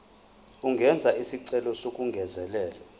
angenza isicelo sokungezelelwa